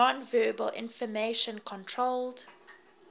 nonverbal information controlled